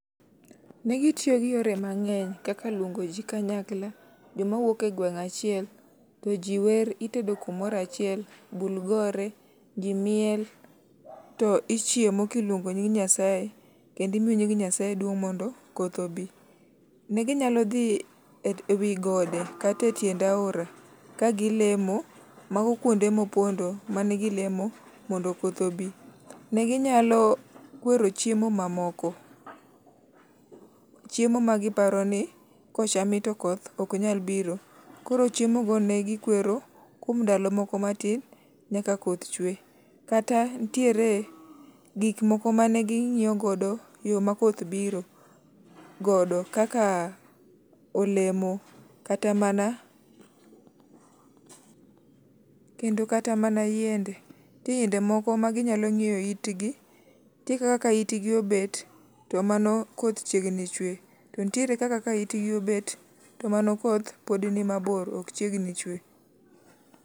Negitiyo gi yore mang'eny kaka luongo ji kanyakla jomawuok egweng' achiel to ji wer, itedo kumoro achiel, bul gore to ji miel. To ichiemo kiluongo nying Nyasaye kendo imiyo nying Nyasaye duong' mondo koth obi. Ne ginyalo dhi ewi gode kata etiend aora kagilemo, mago kuonde mopondo manegilemo mondo koth obi. Ne ginyalo kwero chiemo mamoko, chiemo ma giparo ni kocham to koth ok nyal biro. Koro chiemogo ne gikwero kuom ndalo moko matin nyaka koth chwe. Koro nitiere gik moko mane ging'iyo godo yo makoth biro godo kaka olemo, kata mana, kendo kata mana yiende, nitie yiende moko ma ginyalo ng'iyo itgi, nitie kaka ka itgi obet to mano koth chiegni chwe. To nitiere kaka ka itgi obet to mano koth pod ni mabor ok chiegni chwe.